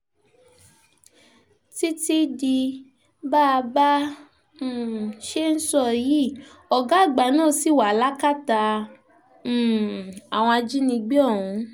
títí di bá a bá a um ṣe ń sọ yìí ọ̀gá àgbà náà ṣì wà lákàtà um àwọn ajínigbé ọ̀hún